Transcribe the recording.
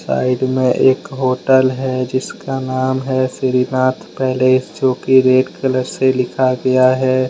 Side में एक hotel है जिसका नाम है श्री नाथ पैलेस जो कि रेड कलर से लिखा गया है।